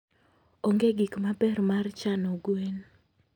onge gik maber mar chano gwen.